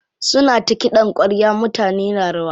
Suna ta kiɗan ƙwarya mutane na rawa.